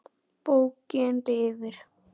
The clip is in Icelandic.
Bókin lifir.